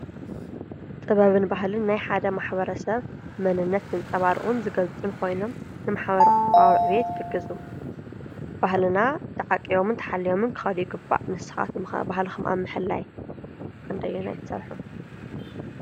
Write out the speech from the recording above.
ጥበብን ባህልን ናይ ሓደ ማሕብረተሰብ መንነት ዘንፀባርቑን ዝገልፁን ኾይኖም ንማሕበረ-ቁጠባዊ ዕብየት ይሕግዙ። ባህልና ተዓቂቦም ተሓልዮምን ክከዱ ይግባእ ።ንስኩም ከ ባህልኩም ኣብ ምሕላይ ክንደየናይ ትሰርሑ?